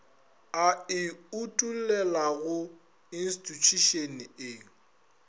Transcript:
a e utollelago institšhušene e